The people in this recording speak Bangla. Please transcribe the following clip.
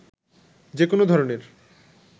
যেকোনো ধরনের